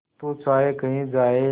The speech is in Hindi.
तू चाहे कही जाए